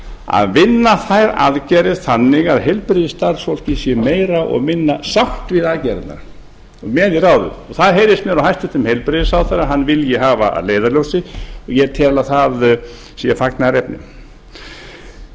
að vinna þær aðgerðir þannig að heilbrigðisstarfsfólkið sé meira og minna sátt við aðgerðirnar og með í ráðum og það heyrðist mér á hæstvirtan heilbrigðisráðherra að hann vilji hafa að leiðarljósi og ég tel að það sé fagnaðarefni o e c